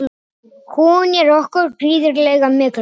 Hún er okkur gríðarlega mikilvæg.